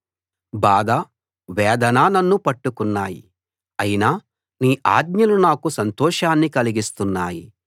బాధ వేదన నన్ను పట్టుకున్నాయి అయినా నీ ఆజ్ఞలు నాకు సంతోషాన్ని కలిగిస్తున్నాయి